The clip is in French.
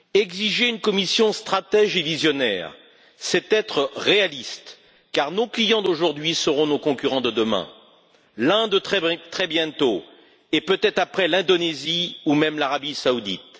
Exiger une Commission stratège et visionnaire, c'est être réaliste, car nos clients d'aujourd'hui seront nos concurrents de demain l'Inde, très bientôt, et peut être après l'Indonésie, ou même l'Arabie saoudite.